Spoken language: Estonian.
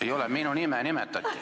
Ei ole, minu nime nimetati.